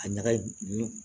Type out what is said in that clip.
A ɲagaɲu